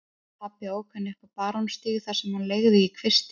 Pabbi ók henni upp á Barónsstíg þar sem hún leigði í kvisti.